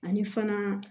Ani fana